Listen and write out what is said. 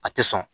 A tɛ sɔn